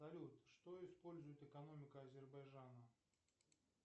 салют что использует экономика азербайджана